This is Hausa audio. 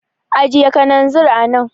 Ajiye kananzir a nan.